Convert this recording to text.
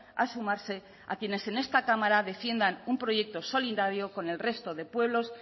a sumarse a quienes en esta cámara defiendan un proyecto solidario con el resto de pueblos